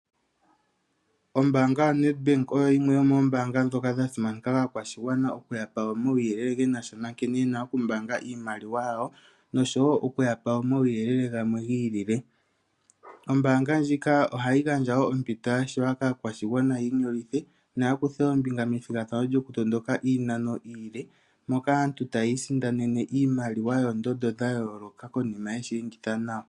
Ombaanga yaNedbank oyo yimwe yomoombanga ndhoka dhasimanekwa kaakwashigwana okuyapa omawuyelele ge nasha nkene yena okumbaanga iimaliwa yawo nosho wo okuyapa omawuyelele gamwe giilile. Ombaanga ndjika ohayi gandja wo ompito yashiwa kaakwashigwana yiinyolithe noya kuthe ombinga methigathano lyokutondoka iinano iile moka aantu tayiisindanene iimaliwa yoondondo dhayooloka konima yeshi enditha nawa.